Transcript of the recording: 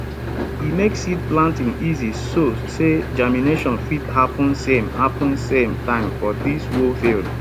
e make seed planting easy so say germination fit happen same happen same time for di whole field